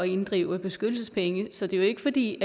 inddrive beskyttelsespenge så det er jo ikke fordi